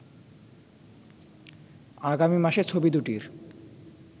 আগামী মাসে ছবি দুটির